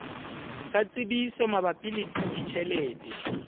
sa tsebiso mabapi le ditjhelete